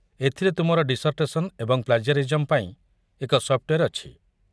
ଏଥିରେ ତୁମର ଡିସର୍ଟେସନ୍ ଏବଂ ପ୍ଳାଜିଆରିଜମ୍ ପାଇଁ ଏକ ସଫ୍ଟୱେର୍ ଅଛି।